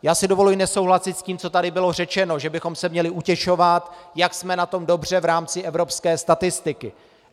Já si dovoluji nesouhlasit s tím, co tady bylo řečeno, že bychom se měli utěšovat, jak jsme na tom dobře v rámci evropské statistiky.